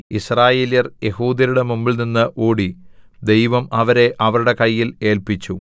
യിസ്രായേല്യർ യെഹൂദ്യരുടെ മുമ്പിൽനിന്നു ഓടി ദൈവം അവരെ അവരുടെ കയ്യിൽ ഏല്പിച്ചു